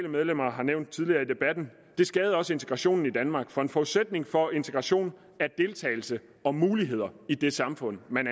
har nævnt tidligere i debatten det skadede også integrationen i danmark for en forudsætning for integration er deltagelse og muligheder i det samfund man